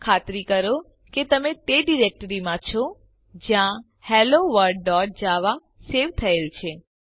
ખાતરી કરો કે તમે તે ડિરેક્ટરીમાં છે જ્યાં helloworldજાવા સેવ થયેલ છે